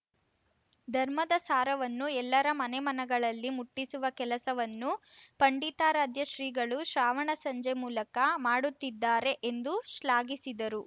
ಧರ್ಮದ ಸಾರವನ್ನು ಎಲ್ಲರ ಮನೆಮನಗಳಲ್ಲಿ ಮುಟ್ಟಿಸುವ ಕೆಲಸವನ್ನು ಪಂಡಿತಾರಾಧ್ಯ ಶ್ರೀಗಳು ಶ್ರಾವಣ ಸಂಜೆ ಮೂಲಕ ಮಾಡುತ್ತಿದ್ದಾರೆ ಎಂದು ಶ್ಲಾಘಿಸಿದರು